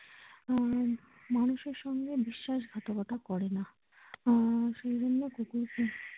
আহ মানুষের সঙ্গে বিশ্বাসঘাতকতা করে না আহ সেই জন্যই কুকুরকে।